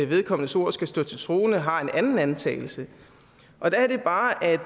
vedkommendes ord skal stå til troende har en anden antagelse der er det bare at